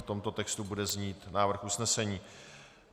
V tomto textu bude znít návrh usnesení.